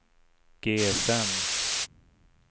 GSM